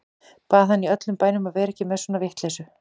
Bað hann í öllum bænum að vera ekki með svona vitleysu.